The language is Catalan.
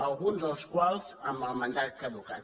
alguns dels quals amb el mandat caducat